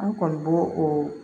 An kɔni bo o